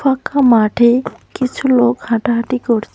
ফাঁকা মাঠে কিছু লোক হাঁটাহাঁটি করছে।